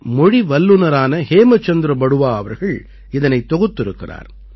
மொழி வல்லுநரான ஹேமசந்திர பருவா அவர்கள் இதனைத் தொகுத்திருக்கிறார்